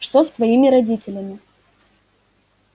что с твоими родителями